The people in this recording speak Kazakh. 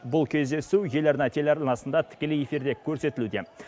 бұл кездесу еларна телеарнасында тікелей көрсетілуде